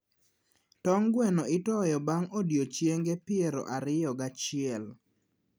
tong gweno itoyo bang' odiechienge piero ariyo gi achiel.